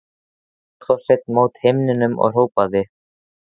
Hló þá Sveinn mót himninum og hrópaði: